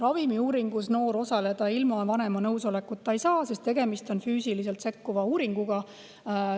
Ravimiuuringus noor ilma vanema nõusolekuta osaleda ei saa, sest tegemist on füüsiliselt sekkuva uuringuga.